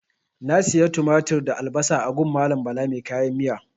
Na siya tumatir da albasan a gun Bala mai kayan miyan.